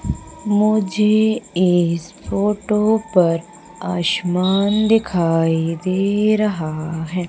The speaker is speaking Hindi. मुझे इस फोटो पर आसमान दिखाई दे रहा है।